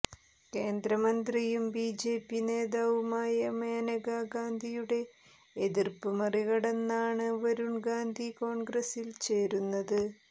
കേന്ദ്രമന്ത്രിയും ബിജെപി നേതാവുമായ മനേക ഗാന്ധിയുടെ എതിര്പ്പ് മറികടന്നാണ് വരുൺ ഗാന്ധി കോൺഗ്രസിൽ ചേരുന്നത്